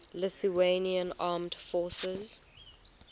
lithuanian armed forces